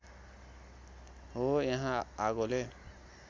हो यहाँ आगोले